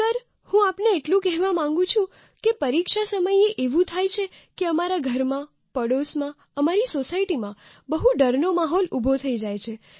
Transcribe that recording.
sir હું આપને એટલું કહેવા માગું છું કે પરીક્ષા સમયે એવું થાય છે કે અમારા ઘરમાં પડોશમાં અમારી સોસાયટીમાં બહુ ડરનો માહોલ ઉભો થઈ જાય છે